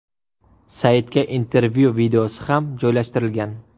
Saytga intervyu videosi ham joylashtirilgan.